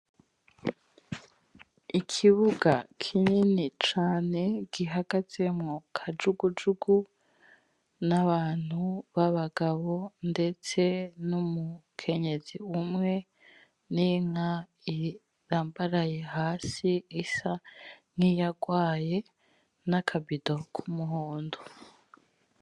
Ikibuga kinini cane gihagazemwo kajugujugu n'abantu babagabo ndetse n'umukenyezi umwe n'inka irambaraye hasi isa nkiyagwaye n'akabido kumuhondo.